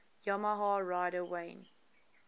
yamaha rider wayne